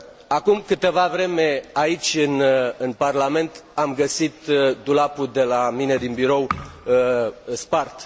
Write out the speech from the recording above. Acum câteva vreme, aici, în Parlament, am găsit dulapul de la mine din birou spart.